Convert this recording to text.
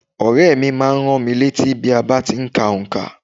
Ọ̀rẹ́ mi má a n rán mi létí bí a ti n ka onkà